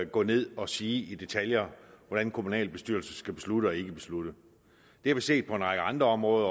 gå ned og sige i detaljer hvordan kommunalbestyrelsen skal beslutte og ikke beslutte vi har set på en række andre områder